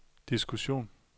diskussion